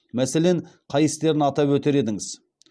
мәселен қай істерін атап өтер едіңіз